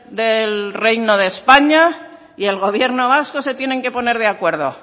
del reino de españa y el gobierno vasco se tienen que poner de acuerdo